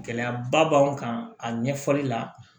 Gɛlɛyaba b'an kan a ɲɛfɔli la